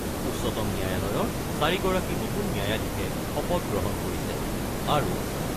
উচ্চতম ন্যায়ালয়ৰ চাৰিগৰাকী নতুন ন্যায়াধীশে শপতগ্ৰহণ কৰিছে আৰু